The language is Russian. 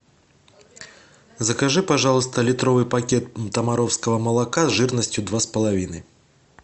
закажи пожалуйста литровый пакет томаровского молока жирностью два с половиной